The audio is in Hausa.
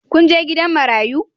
Kun je gidan marayu?